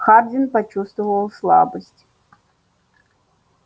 хардин почувствовал слабость